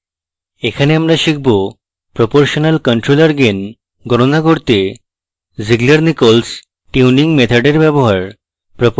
এখানে আমরা শিখব proportional controller gain গণনা করতে zieglernichols tuning method in ব্যবহার